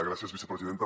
gràcies vicepresidenta